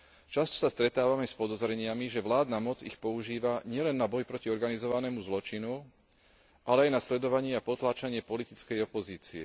Často sa stretávame s podozreniami, že vládna moc ich používa nielen na boj proti organizovanému zločinu, ale aj na sledovanie a potláčanie politickej opozície.